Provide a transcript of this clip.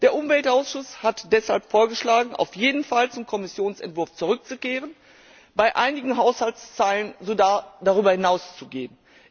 Der Umweltausschuss hat deshalb vorgeschlagen, auf jeden Fall zum Kommissionsentwurf zurückzukehren, bei einigen Haushaltszeilen sogar darüber hinaus zu gehen.